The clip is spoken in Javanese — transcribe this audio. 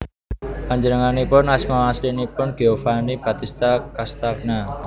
Panjenenganipun asma aslinipun Giovanni Battista Castagna